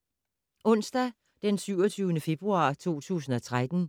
Onsdag d. 27. februar 2013